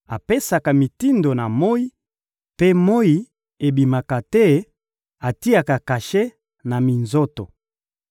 apesaka mitindo na moyi, mpe moyi ebimaka te; atiaka kashe na minzoto.